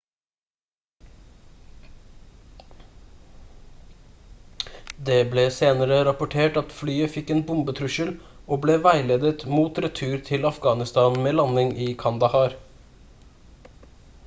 det ble senere rapportert at flyet fikk en bombetrussel og ble veiledet mot retur til afghanistan med landing i kandahar